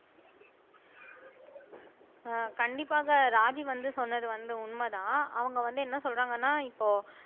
ஆஹ் கண்டிப்பாக ராஜி வந்து சொன்னது வந்து உண்மைதான் அவங்க வந்து என்ன சொல்றாங்கன்னா இப்போ